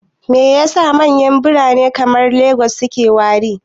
Me yasa manyan birane kamar Lagos suke wari?